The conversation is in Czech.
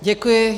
Děkuji.